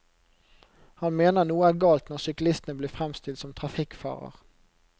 Han mener noe er galt når syklistene blir fremstilt som trafikkfarer.